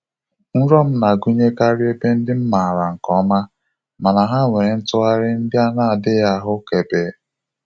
Nrọ m na-agụnyekarị ebe ndị m maara nke ọma, mana ha nwere ntụgharị ndị a na-adịghị ahụkebe.